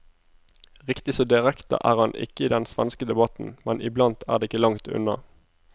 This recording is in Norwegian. Riktig så direkte er han ikke i den svenske debatten, men iblant er det ikke langt unna.